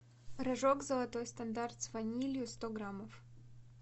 рожок золотой стандарт с ванилью сто граммов